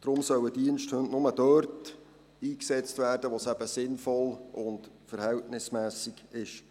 Deshalb sollen Diensthunde nur dort eingesetzt werden, wo es sinnvoll und verhältnismässig ist.